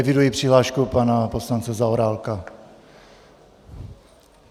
Eviduji přihlášku pana poslance Zaorálka.